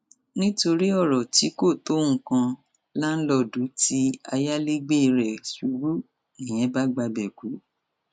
nítorí ọrọ tí kò tó nǹkan láńlọọdù tí ayálégbé rẹ ṣubú nìyẹn bá gbabẹ kú